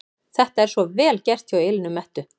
Þetta er svo VEL GERT hjá Elínu Mettu!